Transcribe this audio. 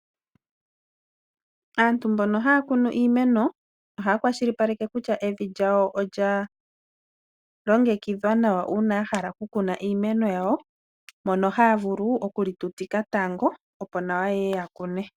Aantu mbono hayakunu iimeno ohaya kwashilipaleke kutya evi lyawo olyalongekidhwa nawa uuna yahala okukuna iimeno yawo mono hayavulu okuli tutika tango opo nawa yakune.